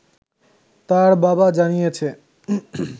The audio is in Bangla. তার বাবা জানিয়েছে